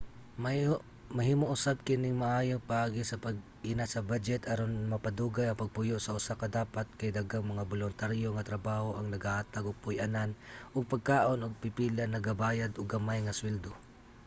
mahimo usab kining maayong paagi sa pag-inat sa badyet aron mapadugay ang pagpuyo sa usa ka dapat kay daghang mga boluntaryo nga trabaho ang nagahatag og puy-anan ug pagkaon ug ang pipila nagabayad og gamay nga suweldo